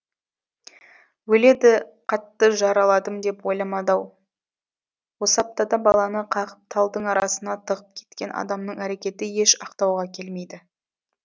өледі қатты жараладым деп ойламады ау осы аптада баланы қағып талдың арасына тығып кеткен адамның әрекеті еш ақтауға келмейді